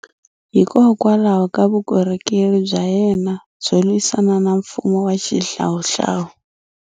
Hikokwalaho ka Vukorhokeri bya yena byo lwisana na mfumo wa xihlawuhlawu.